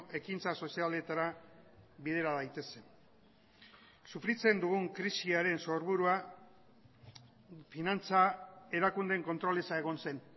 ekintza sozialetara bidera daitezen sufritzen dugun krisiaren sorburua finantza erakundeen kontrol eza egon zen